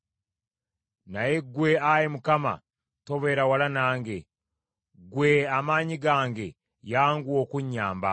Naye ggwe, Ayi Mukama , tobeera wala nange. Ggwe, Amaanyi gange, yanguwa okunnyamba!